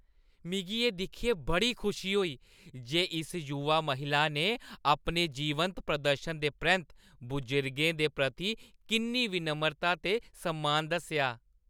मिगी एह् दिक्खियै बड़ी खुशी होई जे इस युवा महिला ने अपने जीवंत प्रदर्शन दे परैंत्त बजुर्गें दे प्रति किन्नी विनम्रता ते सम्मान दस्सेआ।